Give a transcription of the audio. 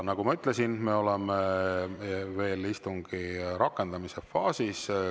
Nagu ma ütlesin, me oleme veel istungi rakendamise faasis.